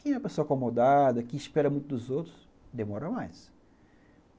Quem é uma pessoa acomodada, que espera muito dos outros, demora mais.